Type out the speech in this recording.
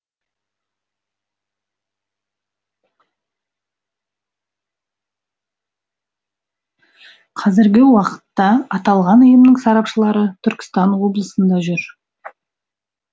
қазіргі уақытта аталған ұйымның сарапшылары түркістан облысында жүр